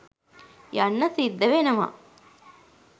යන්න සිද්ධ වෙනව